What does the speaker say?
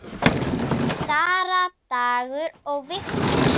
Sara, Dagur og Victor.